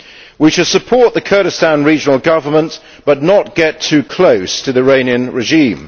We should support the Kurdistan Regional Government but not get too close to the Iranian regime.